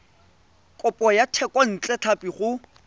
kopo ya thekontle tlhapi go